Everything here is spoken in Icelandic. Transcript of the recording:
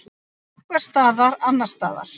Einhvers staðar annars staðar.